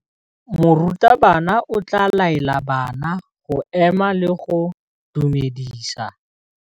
Morutabana o tla laela bana go ema le go go dumedisa.